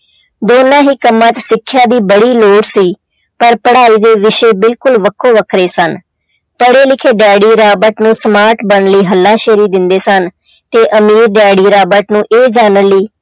ਦੋਨਾਂ ਹੀ ਕੰਮਾਂ 'ਚ ਸਿੱਖਿਆ ਦੀ ਬੜੀ ਲੋੜ ਸੀ ਪਰ ਪੜ੍ਹਾਈ ਦੇ ਵਿਸ਼ੇ ਬਿਲਕੁਲ ਵੱਖੋ ਵੱਖਰੇ ਸਨ, ਪੜ੍ਹੇ ਲਿਖੇ ਡੈਡੀ ਰਾਬਟ ਨੂੰ smart ਬਣਨ ਲਈ ਹੱਲਾਸ਼ੇਰੀ ਦਿੰਦੇ ਸਨ, ਤੇ ਅਮੀਰ ਡੈਡੀ ਰਾਬਟ ਨੂੰ ਇਹ ਜਾਣਨ ਲਈ